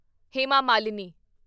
Hema Malini